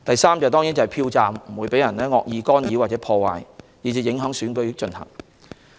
此外，票站不會受到惡意干擾或破壞，以致影響選舉進行。